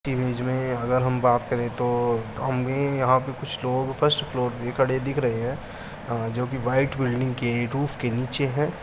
Image में अगर हम बात करें तो हमें यहां पे कुछ लोग फर्स्ट फ्लोर पे खड़े हुए दिख रहे हैं जो कि व्हाइट बिल्डिंग के रुफ के नीचे हैं।